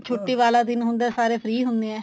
ਛੁੱਟੀ ਵਾਲਾ ਦਿਨ ਹੁੰਦਾ ਸਾਰੇ free ਹੁੰਨੇ ਏ